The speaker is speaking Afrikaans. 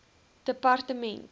departement